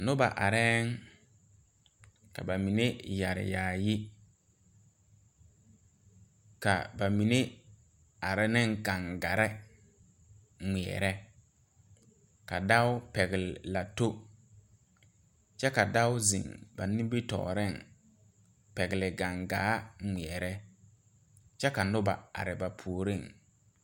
Nobɔ bayi be la zigbaŋgbaliŋ a tuŋ bon yaayi ka kaŋa egi saazuŋ a be seɛɛŋ kyɛ ka nobɔ are ba puoriŋ ka mine pɛgle gaŋgarre.